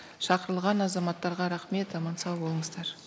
шақырылған азаматтарға рахмет аман сау болыңыздар